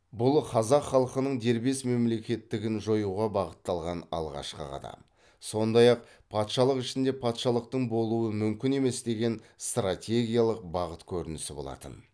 бұл қазақ халқының дербес мемлекеттігін жоюға бағытталған алғашқы қадам сондай ақ патшалық ішінде патшалықтың болуы мүмкін емес деген стратегиялық бағыт көрінісі болатын